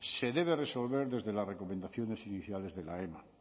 se debe resolver desde las recomendaciones iniciales de la ema